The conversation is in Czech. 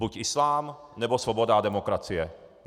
Buď islám, nebo svoboda a demokracie.